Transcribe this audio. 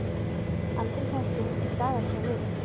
Aldrei hélt ég að þessi staða kæmi upp.